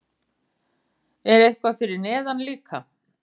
Er eitthvað fyrir neðan líka?